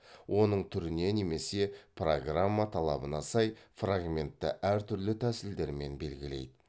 оның түріне немесе программа талабына сай фрагментті әр түрлі тәсілдермен белгілейді